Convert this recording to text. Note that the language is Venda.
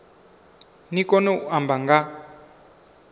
ni kone u amba nga